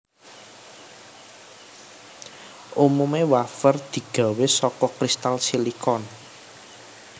Umumé wafer digawé saka kristal silikon